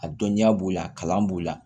A dɔnniya b'o la a kalan b'o la